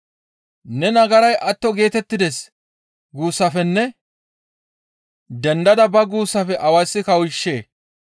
‹Ne nagaray atto geetettides› guussafenne ‹Dendada ba› guussafe awayssi kawushshee?